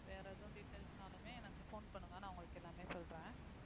வேற எதுவும் details னாலுமே எனக்கு phone பண்ணுங்க நான் உங்களுக்கு எல்லாமே சொல்றேன்